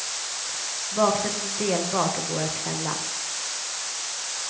Baksätet är delbart och går att fälla.